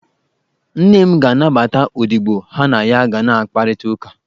Nne m ga-anabata odibo ha na ya ga na-akparịta ụka.